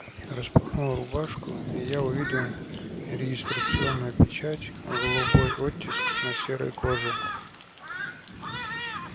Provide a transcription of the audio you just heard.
распахнул рубашку и я увидел регистрационную печать голубой оттиск на серой коже